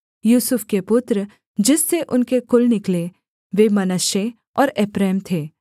यूसुफ के पुत्र जिससे उनके कुल निकले वे मनश्शे और एप्रैम थे